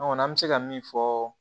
An kɔni an bɛ se ka min fɔ